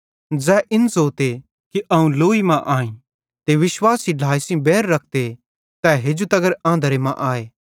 ज़ै इन ज़ोते कि अवं लोई मां आईं ते विश्वासी ढ्लाए सेइं बैर रखते तै हेजू तगर आंधरे मां आए